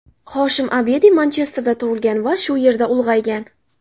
Hoshim Abedi Manchesterda tug‘ilgan va shu yerda ulg‘aygan.